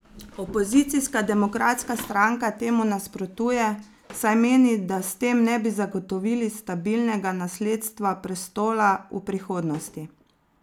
Opozicijska Demokratska stranka temu nasprotuje, saj meni, da s tem ne bi zagotovili stabilnega nasledstva prestola v prihodnosti.